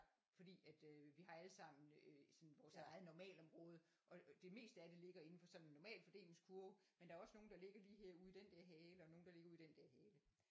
Fordi at øh vi har alle sammen øh sådan vores eget normalområde og det meste af det ligger inden for sådan en normalfordelingskurve men der er også nogle der ligger lige her ude ude i den der hale og nogen der ligger ude i den der hale